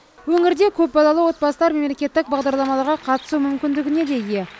өңірде көпбалалы отбасылар мемлекеттік бағдарламаларға қатысу мүмкіндігіне де ие